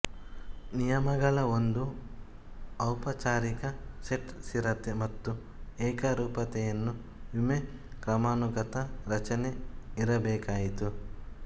ನಿಯಮಗಳ ಒಂದು ಔಪಚಾರಿಕ ಸೆಟ್ ಸ್ಥಿರತೆ ಮತ್ತು ಏಕರೂಪತೆಯನ್ನು ವಿಮೆ ಕ್ರಮಾನುಗತ ರಚನೆ ಇರಬೇಕಾಯಿತು